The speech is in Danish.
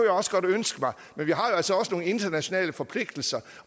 også godt ønske mig men vi har jo altså også nogle internationale forpligtelser